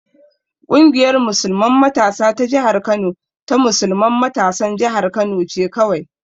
Ƙungiyar musulman matasa ta jihar Kano ta musulman matasan jihar Kano ce kawai.